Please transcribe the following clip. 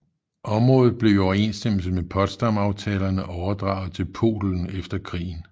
Området blev i overensstemmelse med Potsdamaftalerne overdraget til Polen efter krigen